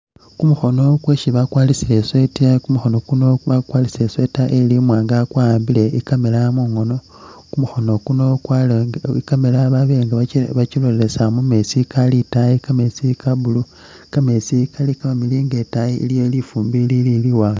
Kumukhono kwesi bakwarisile i'sweater Kumukhono kuno bakukwarisile i'sweater ili imwanga nga kwawambile i'camera mungono, kumukhono ukuno kwabele nga i'camera babele nga i'camera bakilosa mu meetsi kakaali itaayi kameetsi ka blue, kameetsi kali kamamiliyu nga itaayi iliyo lifumbi iliili liwanga.